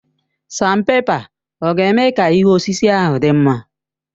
Sanpèpa ọ̀ ga-eme ka ihu osisi ahụ dị mma?